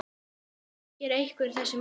Þekkir einhver þessi mál?